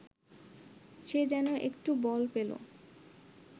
সে যেন একটু বল পেল